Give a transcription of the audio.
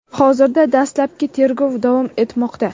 Hozirda dastlabki tergov davom etmoqda.